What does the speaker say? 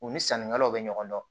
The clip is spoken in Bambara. U ni sannikɛlaw bɛ ɲɔgɔn dɔn